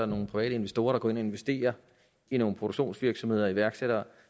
nogle private investorer der går ind og investerer i nogle produktionsvirksomheder iværksættere